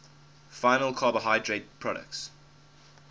final carbohydrate products